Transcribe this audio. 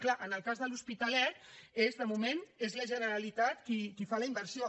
clar en el cas de l’hospitalet de moment és la generalitat qui fa la inversió